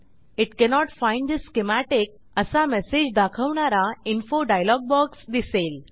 it cannot find the schematic असा message दाखवणारा info dialog box दिसेल